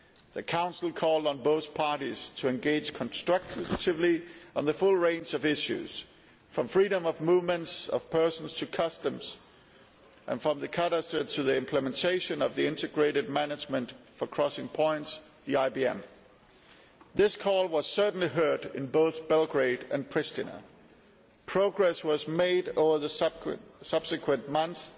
The Council called on both parties to engage constructively on the full range of issues, from freedom of movement of persons to customs and from the cadastre to the implementation of the integrated management for crossing points, the IBM. This call was certainly heard in both Belgrade and Priština. Progress was made over the subsequent months,